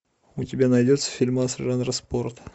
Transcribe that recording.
у тебя найдется фильмас жанра спорт